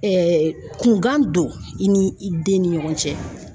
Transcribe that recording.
kungan don i ni i den ni ɲɔgɔn cɛ.